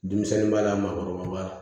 Denmisɛnnin b'a la maakɔrɔba b'a la